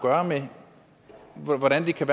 med at gøre hvordan kan